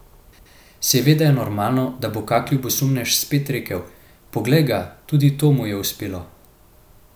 Seveda je normalno, da bo kak ljubosumnež spet rekel, poglej ga, tudi to mu je uspelo.